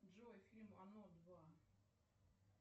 джой фильм оно два